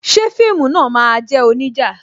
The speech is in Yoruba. Ṣé fíìmù náà máa jẹ́ onija?